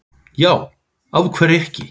Já, af hverju ekki?